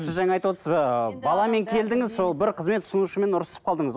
сіз жаңа айтып отырсыз ыыы баламен келдіңіз сол бір қызбен тұтынушымен ұрысып қалдыңыз